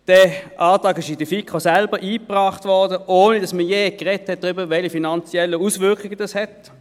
Der Antrag wurde in der FiKo selbst eingebracht, ohne dass man je über die finanziellen Auswirkungen gesprochen hatte.